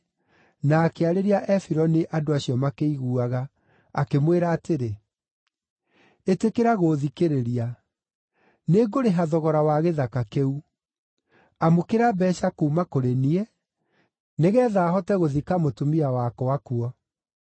na akĩarĩria Efironi andũ acio makĩiguaga, akĩmwĩra atĩrĩ, “Ĩtĩkĩra gũũthikĩrĩria. Nĩngũrĩha thogora wa gĩthaka kĩu. Amũkĩra mbeeca kuuma kũrĩ niĩ, nĩgeetha hote gũthika mũtumia wakwa kuo.”